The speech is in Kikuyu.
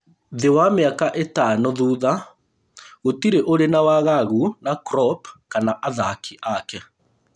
Thĩ wa mĩaka ĩtano thutha, gũtirĩ ũrĩ na wagagu na Klopp kana athaki ake